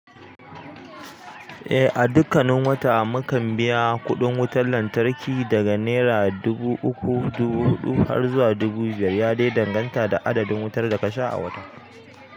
Eh a dukkanin wata mutan biya kuɗin wutar lantarki daga naira dubu uku dubu huɗu har zuwa dubu biyar ya dai danganta da adadin wutar da ka sha a watan.